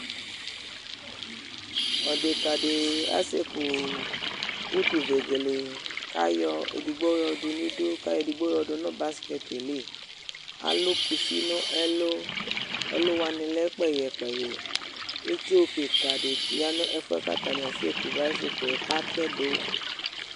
Ɔdeka dɩ asekʋ utuvegele, kʋ ayɔ edigbo yɔdʋ nʋ idu, kʋ ayɔ edigbo yɔdʋ nʋ baskɛtɩ yɛ li Alʋ kusi nʋ ɛlʋ Ɛlʋ wanɩ lɛ kpɛyɛ kpɛyɛ Itsu kɩka dɩ ya nʋ ɛfʋ yɛ kʋ atanɩ asekʋ bayisiklɛ katɛdʋ